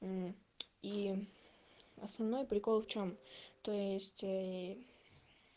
мм и основной прикол в чем то есть ээ